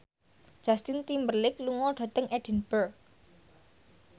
Justin Timberlake lunga dhateng Edinburgh